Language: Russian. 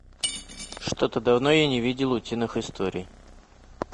что то давно я не видел утиных историй